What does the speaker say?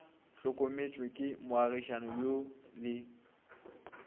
hlokometšwe ke moagišani yo le